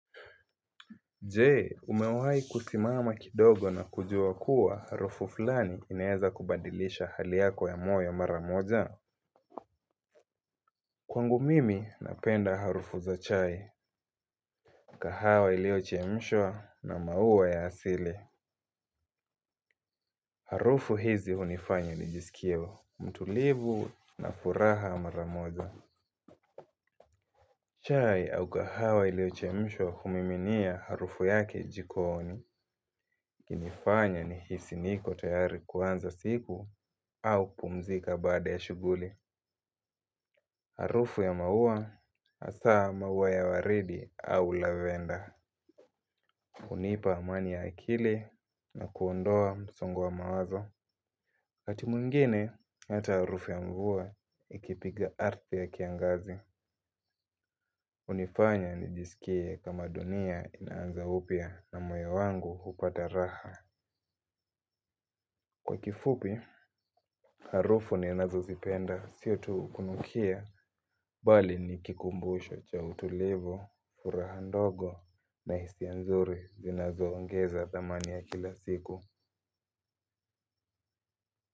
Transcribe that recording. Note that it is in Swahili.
Jee umewahi kusimama kidogo na kujua kuwa harufu fulani inaeza kubadilisha hali yako ya moyo maramoja. Kwangu mimi napenda harufu za chai. Kahawa iliyochemshwa na maua ya asili. Harufu hizi hunifanya nijisikie mtulivu na furaha mara moja. Chai au kahawa iliyochemshwa humiminia harufu yake jikooni. Kinifanya nihisi niko tayari kuanza siku au kupumzika bada ya shuguli. Harufu ya maua asaa maua ya waridi au lavenda hunipa amani ya akili na kuondoa msongo wa mawazo waKati mwingine hata harufu ya mvua ikipiga ardhi ya kiangazi hUnifanya nijisikie kama dunia inaanza upya na moyo wangu hupata raha. Kwa kifupi, harufu ninazozipenda, sio tuu kunukia, bali ni kikumbusho cha utulivu, furaha ndogo na hisia nzuri zinazoongeza thamani ya kila siku.